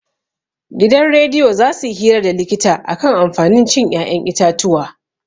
Gidan rediyo za suyi hira da likita akan amfanin cin 'ya'yan itatuwa.